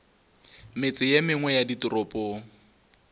metse ye mengwe ya ditoropong